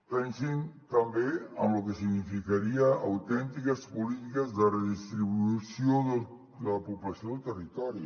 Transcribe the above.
pensin també en lo que significarien autèntiques polítiques de redistribució de la població del territori